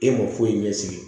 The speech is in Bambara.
E ma foyi ɲɛ sigi